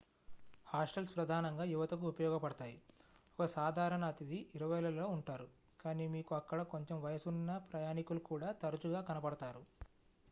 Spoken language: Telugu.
హాస్టల్స్ ప్రధానంగా యువతకు ఉపయోగపడతాయి ఒక సాధారణ అతిథి ఇరవైలలో ఉంటారు కాని మీకు అక్కడ కొంచెం వయసున్న ప్రయాణికులు కూడా తరచుగా కనపడతారు